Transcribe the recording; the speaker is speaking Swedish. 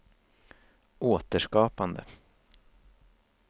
återskapande